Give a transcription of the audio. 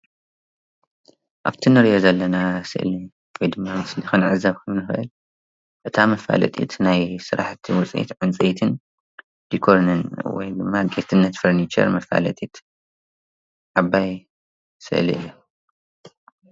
ኣብቲ ንሪኦ ዘለና ስእሊ ክንዕዘብ እንትንኽእል እታ መፋለጢት ናይ ስራሕቲ ዉፅኢት ዕንፀይትን ዲኮርን ወይ ድማ ጌትነት ፈርንቸር መፋለጢት ዓባይ ስእሊ እያ።